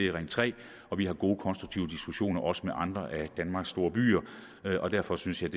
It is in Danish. ring tre og vi har gode konstruktive diskussioner også med andre af danmarks store byer derfor synes jeg